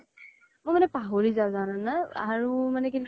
মই মানে কি পাহৰি যাওঁ জানা না আৰু মানে কি